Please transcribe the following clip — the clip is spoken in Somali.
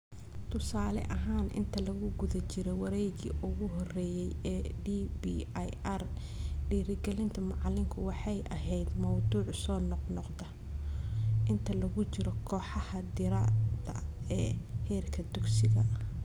Tusaale ahaan, inta lagu guda jiro wareeggii ugu horreeyay ee DBIR, dhiirigelinta macalinku waxay ahayd mawduuc soo noqnoqda inta lagu jiro kooxaha diirada ee heerka dugsiga